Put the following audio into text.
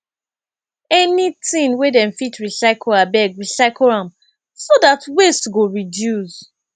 anytin wey dem fit recycle abeg recycle am so dat waste go reduce